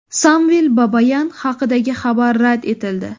Samvel Babayan haqidagi xabar rad etildi.